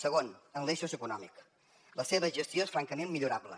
segon en l’eix socioeconòmic la seva gestió és francament millorable